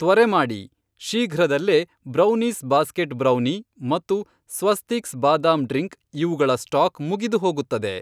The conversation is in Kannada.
ತ್ವರೆ ಮಾಡಿ, ಶೀಘ್ರದಲ್ಲೇ ಬ್ರೌನೀಸ್ ಬಾಸ್ಕೆಟ್ ಬ್ರೌನೀ ಮತ್ತು ಸ್ವಸ್ತಿಕ್ಸ್ ಬಾದಾಮ್ ಡ್ರಿಂಕ್ ಇವುಗಳ ಸ್ಟಾಕ್ ಮುಗಿದುಹೋಗುತ್ತದೆ.